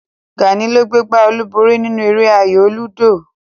Gàní ló gbé gbá olúborí nínú eré ayò lúdò